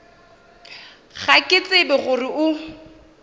ga ke tsebe gore o